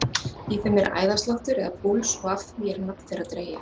Í þeim er æðasláttur eða púls og af því er nafn þeirra dregið.